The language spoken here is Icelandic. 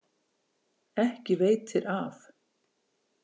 Ekki veitir af.